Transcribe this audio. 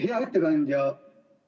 Hea ettekandja!